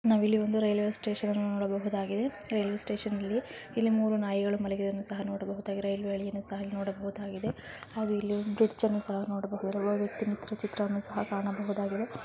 ನಾವು ಇಲ್ಲಿ ಒಂದು ರೈಲ್ವೆ ಸ್ಟೇಷನ್ ನೋಡಬಹುದಾಗಿದೆ ರೈಲ್ವೆ ಸ್ಟೇಷನ್ ಅಲ್ಲಿ ಮೂರೂ ನಾಯಿಗಳೂ ಮಲಗಿರುದನು ಸಹ ನೋಡಬಹುದಾಗಿದೆ ಬ್ರಿಡ್ಜ್ ಅನ್ನು ಸಹ ನೋಡಬಹುದಾಗಿದೆ ಚಿತ್ರಗಳನು ಕಾಣಬಹುದಾಗಿದೆ.